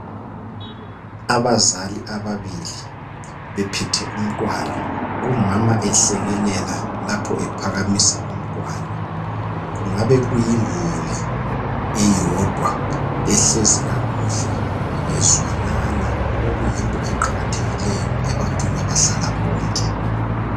Abazali ababili bephethe umntwana umama ehlekelele lapho ephakamisa umntwana kungabe kuyimuli eyodwa ehlezi kakuhle bezwanana okuyinto eqakathekileyo ebantwini abahlala bonke .